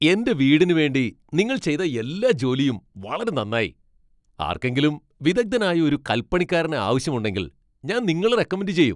എന്റെ വീടിന് വേണ്ടി നിങ്ങൾ ചെയ്ത എല്ലാ ജോലിയും വളരെ നന്നായി. ആർക്കെങ്കിലും വിദഗ്ധനായ ഒരു കൽപ്പണിക്കാരനെ ആവശ്യമുണ്ടെങ്കിൽ, ഞാൻ നിങ്ങളെ റെക്കമെൻഡ് ചെയ്യും.